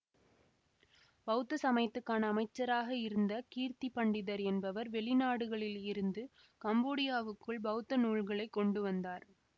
பௌத்த சமயத்துக்கான அமைச்சராக இருந்த கீர்த்திபண்டிதர் என்பவர் வெளி நாடுகளில் இருந்து கம்போடியாவுக்குள் பௌத்த நூல்களை கொண்டு வந்தார்